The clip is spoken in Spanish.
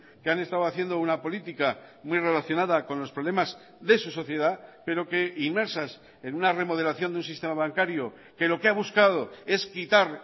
que han estado haciendo una política muy relacionada con los problemas de su sociedad pero que inmersas en una remodelación de un sistema bancario que lo que ha buscado es quitar